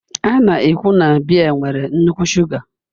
A na-ekwu na biya nwere nnukwu shuga